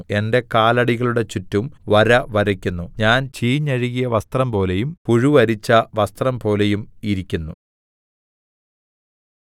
ഞാൻ ചീഞ്ഞഴുകിയ വസ്ത്രംപോലെയും പുഴു അരിച്ച വസ്ത്രംപോലെയും ഇരിക്കുന്നു